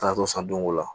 Taatɔ san don o la